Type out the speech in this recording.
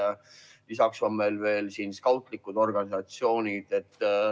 Ja lisaks on meil veel skautlikud organisatsioonid.